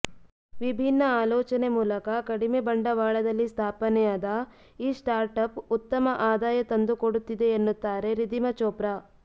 ವಿಭಿನ್ನ ಆಲೋಚನೆ ಮೂಲಕ ಕಡಿಮೆ ಬಂಡವಾಳದಲ್ಲಿ ಸ್ಥಾಪನೆಯಾದ ಈ ಸ್ಟಾರ್ಟ್ಅಪ್ ಉತ್ತಮ ಆದಾಯ ತಂದುಕೊಂಡುತ್ತಿದೆ ಎನ್ನುತ್ತಾರೆ ರಿಧೀಮಾ ಚೋಪ್ರಾ